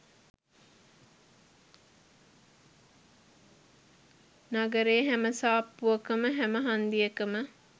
නගරේ හැම සාප්පුවකම හැම හන්දියකම